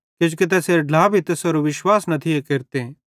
किजोकि तैसेरे ढ्ला भी तैसेरो विश्वास न थी केरते